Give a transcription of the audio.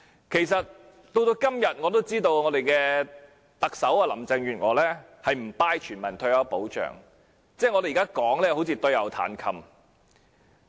其實，我也知道特首林鄭月娥至今仍不支持全民退休保障，我們現在說甚麼都仿如對牛彈琴。